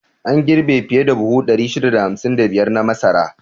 An girbi fiye da buhu 655 na masara.